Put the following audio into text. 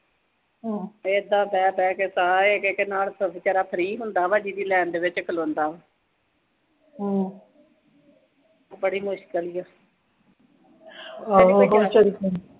ਤੇ ਇਦਾਂ ਬਹਿ-ਬਹਿ ਕੇ ਸਾਰੇ ਇੱਕ-ਇੱਕ ਨਾਲ ਬੇਚਾਰਾ ਫਰੀ ਹੁੰਦਾ ਵਾ, ਜੀਹਦੀ ਲਾਈਨ ਦੇ ਵਿੱਚ ਖਲੋਂਦਾ। ਬੜੀ ਮੁਸ਼ਿਕਲ ਵਾ